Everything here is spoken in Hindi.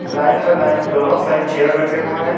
लाइन में लाइन दोनों साइड चेयर रखे हुए हैं।